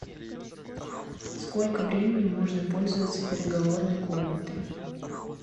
сколько времени можно пользоваться переговорной комнатой